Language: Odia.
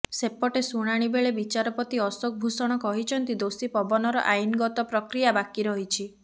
ସେପଟେ ଶୁଣାଣି ବେଳେ ବିଚାରପତି ଅଶୋକ ଭୂଷଣ କହିଛନ୍ତି ଦୋଷୀ ପବନର ଆଇନ ଗତ ପ୍ରକ୍ରିୟା ବାକି ରହିଛି